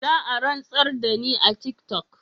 Zaa rantsar dani a tiktok.